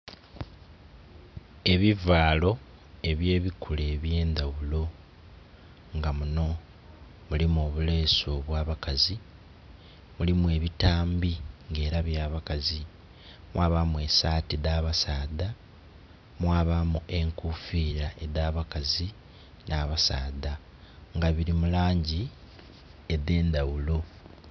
Ebivaalo ebye bikula ebyendhaghulo nga munho mulimu obulesu obwa bakazi, mulimu ebitambi nga era bya bakazi, mwabamu saati dha basaadha, mwabamu enkofira edha bakazi nha basaadha nga bili mulangi edhendhaghulo.